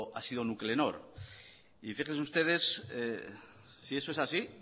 ha sido nuclenor y fíjense ustedes si eso es así